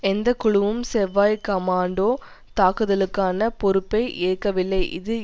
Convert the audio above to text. எந்த குழுவும் செவ்வாய் கமாண்டோ தாக்குதலுக்கான பொறுப்பை ஏற்கவில்லை இது